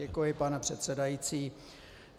Děkuji, pane předsedající.